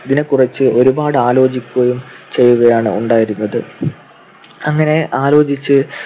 ഇതിനെക്കുറിച്ചു ഒരുപാട് ആലോചിക്കുകയും ചെയ്യുകയാണ് ഉണ്ടായിരുന്നത്. അങ്ങനെ ആലോചിച്ച്